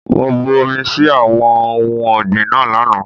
Mo bu omi sí àwọn ohun ọ̀gbìn náà lánàá.